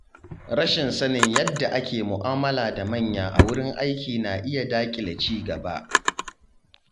Rashin sanin yadda ake mu’amala da manya a wurin aiki na iya daƙile ci gaba.